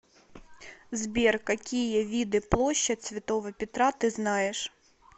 сбер какие виды площадь святого петра ты знаешь